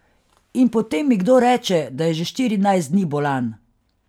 In potem mi kdo reče, da je že štirinajst dni bolan.